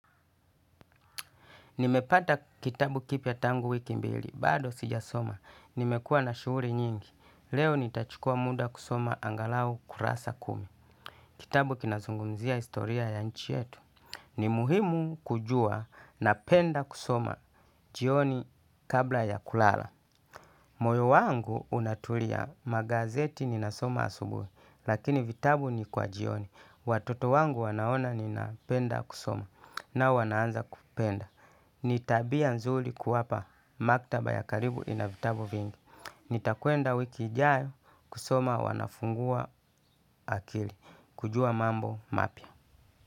Nimepata kitabu kipya tangu wiki mbili. Bado sijasoma. Nimekua na shuhuri nyingi. Leo nitachukua muda kusoma angalau kurasa kumi. Kitabu kinazungumzia historia ya nchi yetu. Ni muhimu kujua napenda kusoma jioni kabla ya kulala. Moyo wangu unatulia magazeti ninasoma asubuhi lakini vitabu ni kwa jioni. Watoto wangu wanaona ninapenda kusoma na wanaanza kupenda. Ni tabia nzuri kuwapa maktaba ya karibu ina vitabu vingi. Nitakwenda wiki ijayo kusoma wanafungua akili. Kujua mambo mapia.